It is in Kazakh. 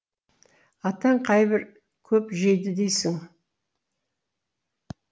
атаң қайбір көп жейді дейсің